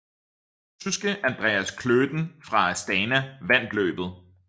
Tyske Andreas Klöden fra Astana vandt løbet